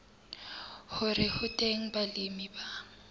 hore ho teng balemi ba